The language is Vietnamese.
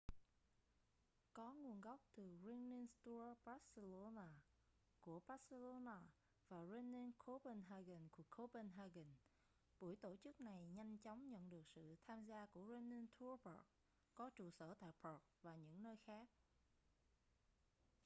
có nguồn gốc từ running tours barcelona của barcelona và running copenhagen của copenhagen buổi tổ chức này nhanh chóng nhận được sự tham gia của running tours prague có trụ sở tại prague và những nơi khác